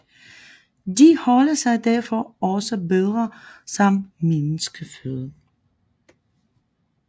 De holder sig derfor også bedre som menneskeføde